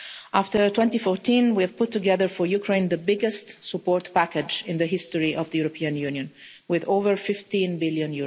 After 2014 we put together for Ukraine the biggest support package in the history of the European Union, with over EUR 15 billion.